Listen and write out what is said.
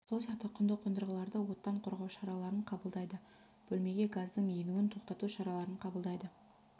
сол сияқты құнды қондырғыларды оттан қорғау шараларын қабылдайды бөлмеге газдың енуін тоқтату шараларын қабылдайды